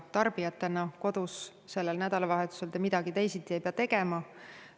Tarbijatena kodus sellel nädalavahetusel te midagi teisiti ei pea tegema.